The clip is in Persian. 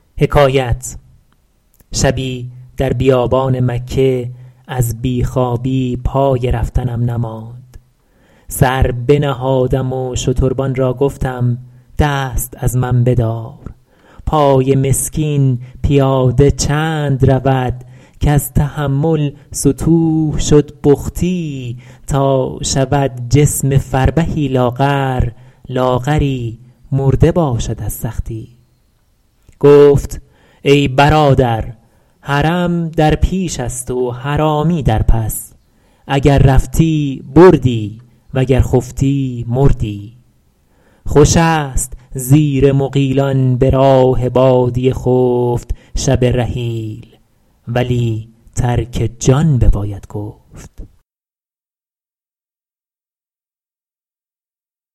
شبی در بیابان مکه از بی خوابی پای رفتنم نماند سر بنهادم و شتربان را گفتم دست از من بدار پای مسکین پیاده چند رود کز تحمل ستوه شد بختی تا شود جسم فربهی لاغر لاغری مرده باشد از سختی گفت ای برادر حرم در پیش است و حرامی در پس اگر رفتی بردی وگر خفتی مردی خوش است زیر مغیلان به راه بادیه خفت شب رحیل ولی ترک جان بباید گفت